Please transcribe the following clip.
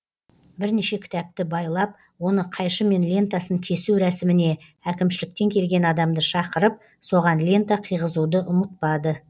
бірнеше кітапты байлап оны қайшымен лентасын кесу рәсіміне әкімшіліктен келген адамды шақырып соған лента қыйғызуды ұмытпады